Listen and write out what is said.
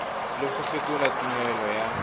le go fetola tumelelo ya